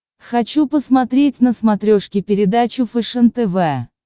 хочу посмотреть на смотрешке передачу фэшен тв